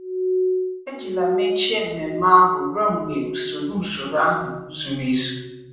Ejila mechie mmemme ahụ ruo mgbe usoro usoro ahụ zuru ezu.